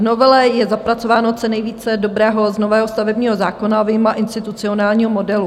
V novele je zapracováno co nejvíce dobrého z nového stavebního zákona vyjma institucionálního modelu.